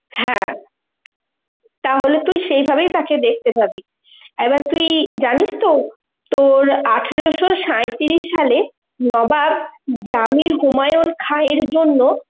হ্যাঁ, তাহলে তুই সেই ভাবেই তাকে দেখতে পাবি, এবার তুই জানিস তো তোর আঠারোশ সাঁইত্রিশ সালে নবাব জামির উমায়ু খায়ের জন্য